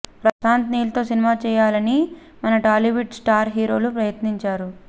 ప్రశాంత్ నీల్ తో సినిమా చేయాలనీ మన టాలీవుడ్ స్టార్ హీరోలు ప్రయత్నించారు